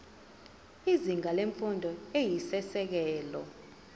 izinga lemfundo eyisisekelo